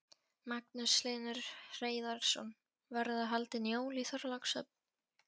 Magnús Hlynur Hreiðarsson: Verða haldin jól í Þorlákshöfn?